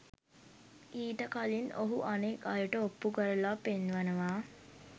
ඊට කලින් ඔහු අනෙක් අයට ඔප්පු කරලා පෙන්වනවා